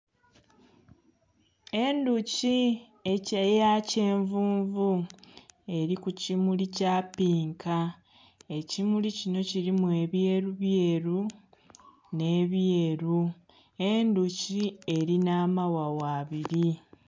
Endhuki eya kyenvunvu eli ku kimuli kya pinka. Ekimuli kino kilimu ebyerubyeru, nh'ebyeru. Endhuki elina amaghagha abili.